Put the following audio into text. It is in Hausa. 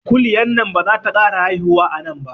Kuliyan nan bazata kara haifuwa anan ba